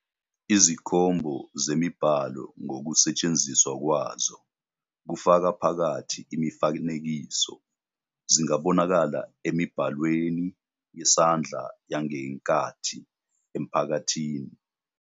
Izikhombo zemibhalo ngokusetshenziswa kwazo, kufaka phakathi imifanekiso, zingabonakala emibhalweni yesandla yangenkathi ephakathi.